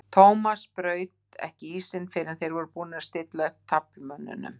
Thomas braut ekki ísinn fyrr en þeir voru búnir að stilla upp taflmönnunum.